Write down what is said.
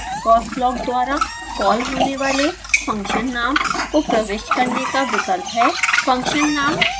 यहाँ इस xcos block द्वारा कॉल होने वाले फंक्शन नाम को प्रविष्ट करने का विकल्प है